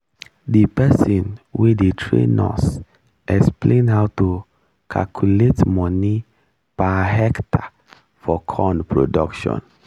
the person wey dey train us explain how to calculate money per hectare for corn production